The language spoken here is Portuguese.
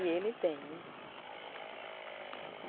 E ele tem, né?